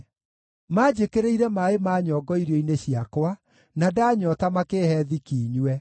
Maanjĩkĩrĩire maaĩ ma nyongo irio-inĩ ciakwa, na ndanyoota makĩĩhe thiki nyue.